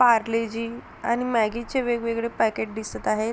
पार्ले-जी आणि मॅगी चे वेगवेगळे पॅकेट दिसत आहेत.